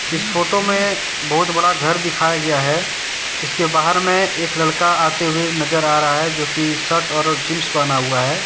इस फोटो में बहुत बड़ा घर दिखाया गया है इसके बाहर में एक लड़का आते हुए नजर आ रहा है जोकि शर्ट और जींस पहना हुआ है।